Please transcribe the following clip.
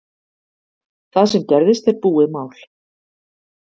Það sem gerðist er búið mál